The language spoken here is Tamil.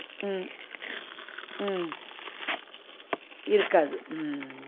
உம் உம் இருக்காது உம்